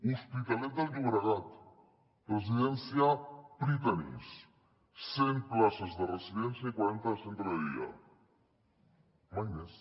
l’hospitalet de llobregat residència prytanis cent places de residència i quaranta de centre de dia mai més